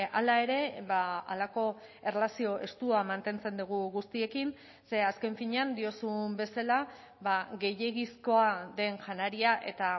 hala ere halako erlazio estua mantentzen dugu guztiekin ze azken finean diozun bezala gehiegizkoa den janaria eta